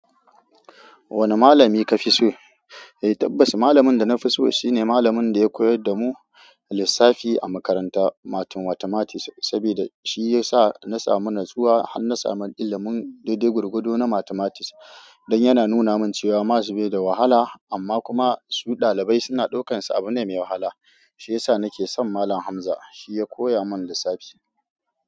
Wane malami ka fi so? Eh tabbas, malamin da na fi so shine malamin da ya koyar da mu lissafi a makaranta, "mathematics", saboda shi ya sa na samu natsuwa har na samu ilimin daidai gwargwado na mathematics. Don yana nuna min cewa maths bai da wahala amma kuma su ɗalibai suna ɗaukansa abu ne mai wahala. Shi ya sa nake son Malam Hamza. Shi ya koya mun lissafi.